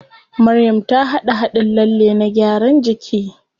Maryam ta haɗa haɗin lalle na gyaran jiki.